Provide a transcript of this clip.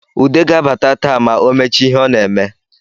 Ude ga-abata taa ma o mechaa ihe o na-eme